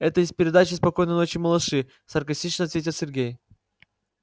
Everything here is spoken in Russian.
это из передачи спокойной ночи малыши саркастично ответил сергей